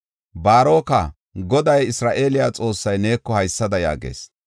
“Baaroka, Goday, Isra7eele Xoossay neeko haysada yaagees: